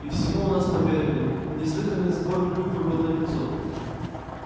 и всему у нас поверили неслыханный сбор клюквы был налицо